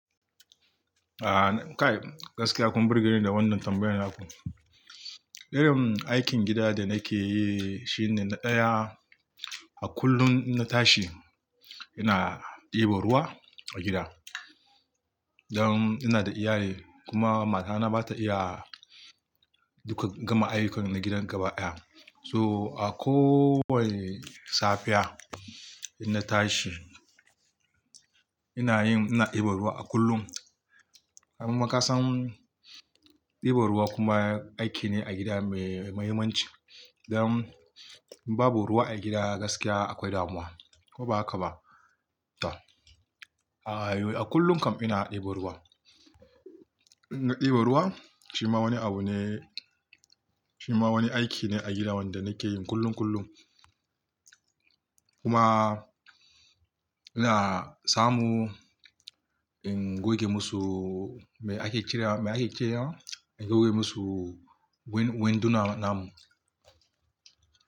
A kai gaskiya kun burge ni da wannan tambayar naku. Irim aikin gida da nake yi shine na ɗaya, a kullum in na tashi ina ɗiban ruwa a gida. Dan ina da iyaye kuma matana ba ta iya duka gama ayyukan na gidan gaba ɗaya. So a ko wane safiya in na tashi ina yin, ina ɗiban ruwa a kullum. Amma kasan ɗiba ruwa kuma aiki ne a gida mai muhimmanci. Dan babu ruwa a gida gaskiya akwai damuwa ko ba haka ba? To a kullum kam ina ɗiba ruwa. In na ɗiba ruwa shi ma wani abu ne, shi ma wani aiki ne a gida wanda nake yi kullum kullum. Kuma ina samu in goge musu mai ake cirewa, mai ake cirewa, in goge musu winduna namu.